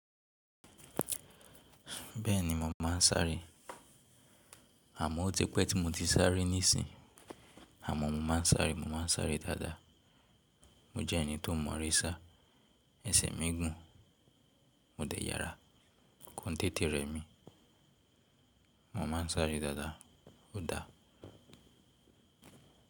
Bẹ́ẹ̀ni, mo máa ń sáré. Àmọ́ ó ti pẹ́ tí mo ti sáré nísìń, àmọ́ mo máa ń sáré, mo máa ń sáré dáadáa. Mo jẹ́ ẹni tó mọ̀ eré sá, ẹsẹ̀ mi gùn, mo dẹ̀ yára, kọ̀ n tẹ̀tẹ̀ rẹ mi. Mo máa ń sáré dáadáa. Ó da.